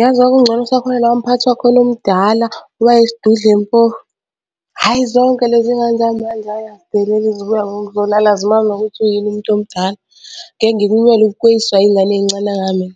Yazi kwakungcono kusakhona lowa mphathi wakhona omdala owayeyisidudla empofu. Hhayi zonke lezi ngane zamanje ayi azideleli zibuya ngokuzolala azimazi nokuthi uyini umuntu omdala. Ngeke ngikumele ukweyiswa iy'ngane ey'ncane kangaka mina,